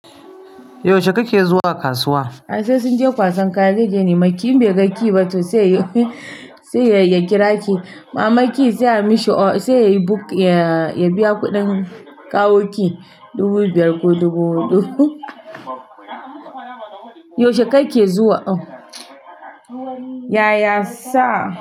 Yaushe kake zuwa kasuwa? Ashe sun je kwasan kayayyaki ne, makiyi bai ga ki ba to sai ya kira ki. Mamanki sai ya yi book, ya biya kuɗin kawoki dubu biyar ko dubu huɗu. Yaushe kake zuwa? Yaya sa.